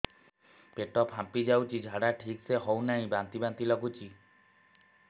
ପେଟ ଫାମ୍ପି ଯାଉଛି ଝାଡା ଠିକ ସେ ହଉନାହିଁ ବାନ୍ତି ବାନ୍ତି ଲଗୁଛି